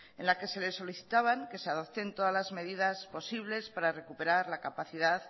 en la que se le solicitaban que se adopten todas las medidas posibles para recuperar la capacidad